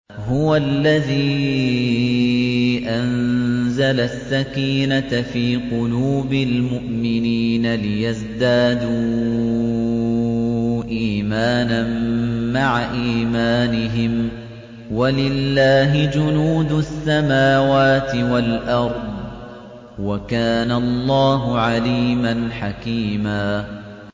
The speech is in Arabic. هُوَ الَّذِي أَنزَلَ السَّكِينَةَ فِي قُلُوبِ الْمُؤْمِنِينَ لِيَزْدَادُوا إِيمَانًا مَّعَ إِيمَانِهِمْ ۗ وَلِلَّهِ جُنُودُ السَّمَاوَاتِ وَالْأَرْضِ ۚ وَكَانَ اللَّهُ عَلِيمًا حَكِيمًا